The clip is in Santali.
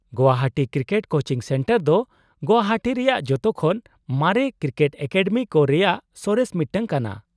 -ᱜᱳᱣᱟᱦᱟᱴᱤ ᱠᱨᱤᱠᱮᱴ ᱠᱳᱪᱤᱝ ᱥᱮᱱᱴᱟᱨ ᱫᱚ ᱜᱳᱣᱟᱦᱟᱴᱤ ᱨᱮᱭᱟᱜ ᱡᱚᱛᱚᱠᱷᱚᱱ ᱢᱟᱨᱮ ᱠᱨᱤᱠᱮᱴ ᱮᱠᱟᱰᱮᱢᱤ ᱠᱚ ᱨᱮᱭᱟᱜ ᱥᱚᱨᱮᱥ ᱢᱤᱫᱴᱟᱝ ᱠᱟᱱᱟ ᱾